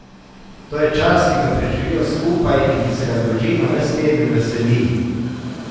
To je čas, ki ga preživijo skupaj in ki se ga družina ves teden veseli.